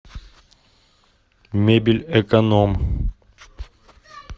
мебель эконом